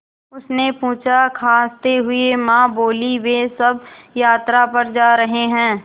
उसने पूछा खाँसते हुए माँ बोलीं वे सब यात्रा पर जा रहे हैं